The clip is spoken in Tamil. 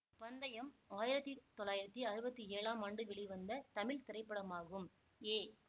பந்தயம் ஆயிரத்தி தொள்ளாயிரத்தி அறுவத்தி ஏழாம் ஆண்டு வெளிவந்த தமிழ் திரைப்படமாகும் ஏ